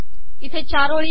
इथे चार ओळी आहे